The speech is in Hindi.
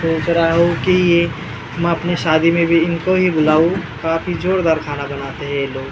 सोच रहा हूँ की ये हम अपने शादी में भी इनको ही बुलाऊँ काफी जोरदार खाना बनाते हैं ये लोग ।